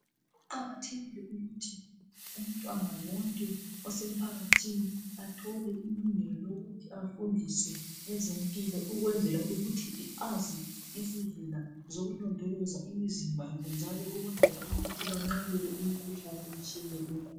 Kuqakathekile ukuthi umtwana wonke osemphakathini athole ilungelo lokuthi afundiswe ezempilo ukwenzela ukuthi azi izindlela zokulondoloza imizimba yabo njalo banqabele imkhuhlane etshiyeneyo ekhona.